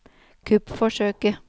kuppforsøket